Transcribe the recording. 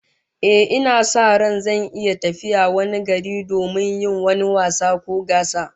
Ehh, ina sa ran zan iya tafiya wani gari domin yin wani wasa ko gasa